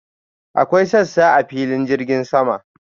Akwai sassa a filin jirgin sama.